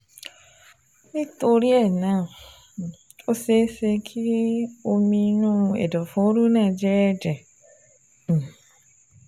Nítorí um náà, ó ṣeé ṣe kí omi inú ẹ̀dọ̀fóró náà jẹ́ ẹ̀jẹ̀ um